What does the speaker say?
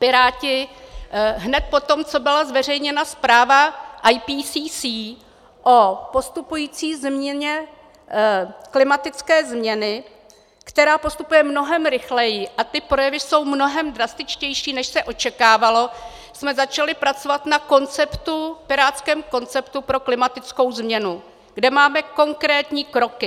Piráti hned poté, co byla zveřejněna zpráva IPCC o postupující změně klimatické změny, která postupuje mnohem rychleji, a ty projevy jsou mnohem drastičtější, než se očekávalo, jsme začali pracovat na pirátském konceptu pro klimatickou změnu, kde máme konkrétní kroky.